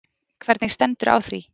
Hvernig stendur á því